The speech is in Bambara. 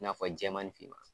I n'a fɔ jɛman ni finman.